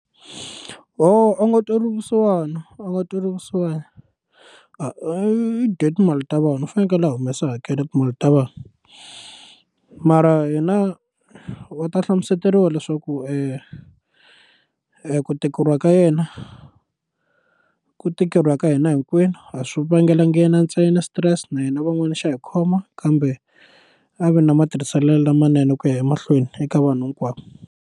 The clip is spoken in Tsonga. a nga tweriwi vusiwana a nga tweliwi vusiwana a i dye timali ta vona u fanekele a humesa hakela timali ta vanhu mara hina wa ta hlamuseteriwa leswaku ku tikeriwa ka yena ku tikeriwa ka hina hinkwenu a swi vangelanga yena ntsena stress na hina van'wani xa hi khoma kambe a va ni matirhiselo lamanene ku ya emahlweni eka vanhu hinkwavo.